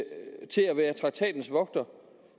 være traktatens vogter